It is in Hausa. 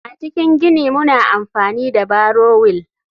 A cikin gini muna amfani da barrow wheel.